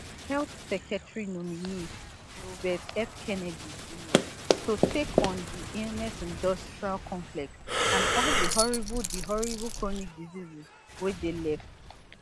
[health secretary nominee] robert f kennedy jr to take on di illness industrial complex and all di horrible di horrible chronic diseases wey dey left